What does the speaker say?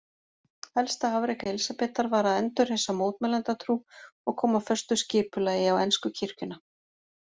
Helsta afrek Elísabetar var að endurreisa mótmælendatrú og koma föstu skipulagi á ensku kirkjuna.